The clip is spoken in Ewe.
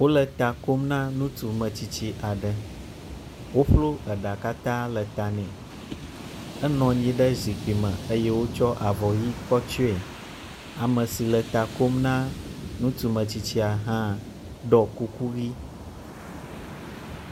Wole ta kom na ŋutsu metsitsi aɖe, woƒlɔ eɖa katã le ta nɛ. Enɔ nyi ɖe zikpui me eye wotsɔ avɔ ʋɛ̃ kɔ tsyɔe. ame si nɔ ta kom na ŋutsu metsitsia hã ɖɔ kuku ʋɛ̃.